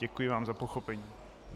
Děkuji vám za pochopení.